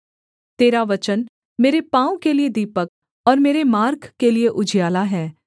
तेरा वचन मेरे पाँव के लिये दीपक और मेरे मार्ग के लिये उजियाला है